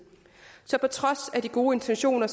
så på trods af de gode intentioner